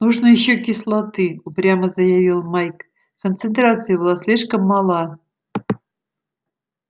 нужно ещё кислоты упрямо заявил майк концентрация была слишком мала